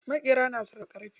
Maƙera na sarrafa ƙarfe.